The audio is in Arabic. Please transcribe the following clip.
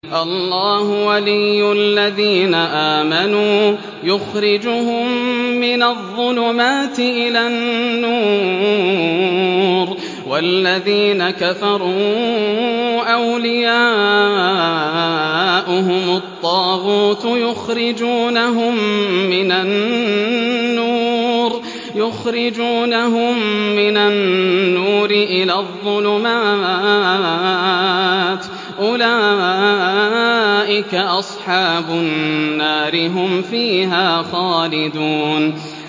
اللَّهُ وَلِيُّ الَّذِينَ آمَنُوا يُخْرِجُهُم مِّنَ الظُّلُمَاتِ إِلَى النُّورِ ۖ وَالَّذِينَ كَفَرُوا أَوْلِيَاؤُهُمُ الطَّاغُوتُ يُخْرِجُونَهُم مِّنَ النُّورِ إِلَى الظُّلُمَاتِ ۗ أُولَٰئِكَ أَصْحَابُ النَّارِ ۖ هُمْ فِيهَا خَالِدُونَ